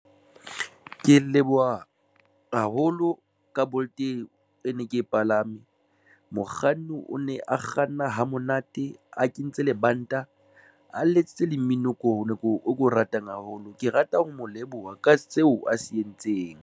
Ke leboha haholo ka Bolt e e ne ke e palame mokganni, o ne a kganna hamonate, a kentse lebanta, a letsitse le mmino e ko nako o ke o ratang haholo. Ke rata ho mo leboha ka seo a se entseng.